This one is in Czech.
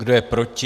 Kdo je proti?